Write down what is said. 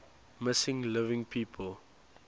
missing living people